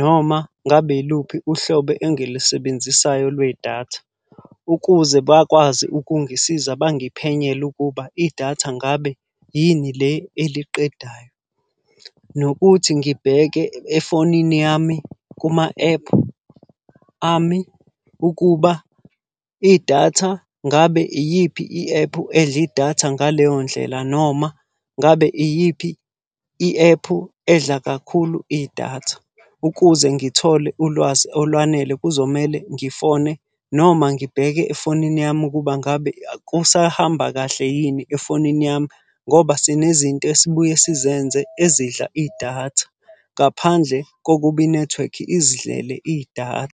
noma ngabe yiluphi uhlobo engilisebenzisayo lwedatha. Ukuze bakwazi ukungisiza bangiphenyele ukuba idatha ngabe yini le eliqedayo. Nokuthi ngibheke efonini yami kuma-ephu ami ukuba idatha ngabe iyiphi i-ephu edla idatha ngaleyo ndlela, noma ngabe iyiphi i-ephu edla kakhulu idatha. Ukuze ngithole ulwazi olwanele kuzomele ngifone noma ngibheke efonini yami ukuba ngabe kusahamba kahle yini efonini yami, ngoba sinezinto esibuye sizenze ezidla idatha. Ngaphandle kokuba inethiwekhi izidlele idatha.